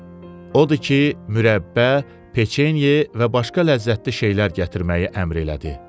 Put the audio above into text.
Odu ki, mürəbbə, peçenye və başqa ləzzətli şeylər gətirməyi əmr elədi.